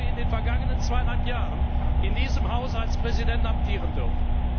Ich habe in den vergangenen zweieinhalb Jahren in diesem Hause als Präsident amtieren dürfen.